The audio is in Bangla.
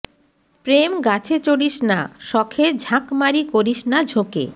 প্রেম গাছে চড়িস না শখে ঝাঁকমারি করিস না ঝোকে